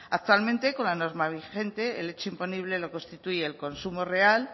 actualmente con la norma vigente el hecho imponible lo constituye el consumo real